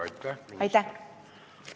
Aitäh, minister!